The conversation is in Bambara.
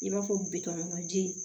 I b'a fɔ bitɔn ma ji